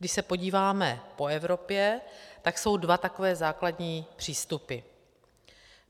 Když se podíváme po Evropě, tak jsou dva takové základní přístupy.